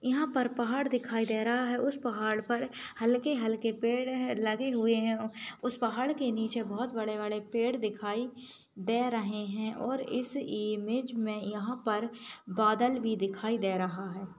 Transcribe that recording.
यहाँ पर पहाड़ दिखाई दे रहा है उस पहाड़ पर हल्के हल्के पेड़ लगे हुए हैं उस पहाड़ के नीचे बड़े बड़े पेड़ दिखाई दे रहे हैं और इस इमेज में यहाँ पर बादल भी दिखाई दे रहा है।